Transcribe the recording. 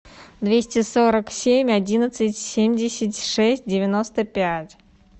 двести сорок семь одиннадцать семьдесят шесть девяносто пять